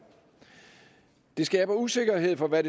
skaber usikkerhed for hvad